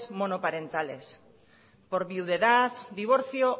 monoparentales por viudedad divorcio